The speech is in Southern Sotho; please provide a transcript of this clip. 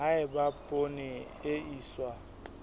ha eba poone e iswa